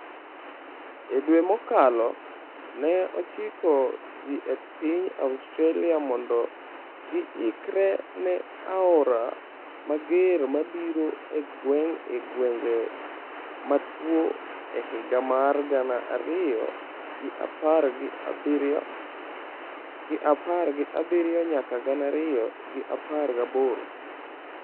E dwe mokalo, ne ochiko ji e piny Australia mondo giikre ne aora mager mabiro e gwenge motuo e higa mar gana ariyo gi apar gi abiriyo nyaka gana ariyo gi apar gi aboro.